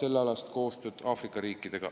sellealast koostööd Aafrika riikidega.